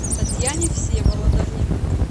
татьяне всеволодовне